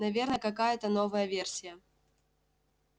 наверное какая-та новая версия